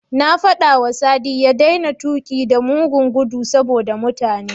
Na faɗawa Sadi ya daina tuƙi da mugun gudu saboda mutane.